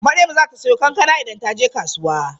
Maryam zata siyo kankana idan taje kasuwa?